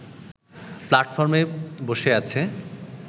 প্লাটফর্মে বসে আছে